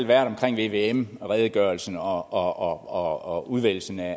været der om vvm redegørelsen og og udvælgelsen af